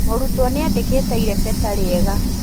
Mũrutwo nĩandĩkite irebeta rĩega